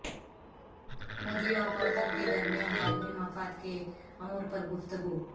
مودی اور پوتن کے درمیان باہمی مفادکے امور پر گفتگو